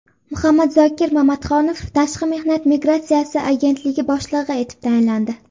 Muhammadzokir Mamatxonov Tashqi mehnat migratsiyasi agentligi boshlig‘i etib tayinlandi.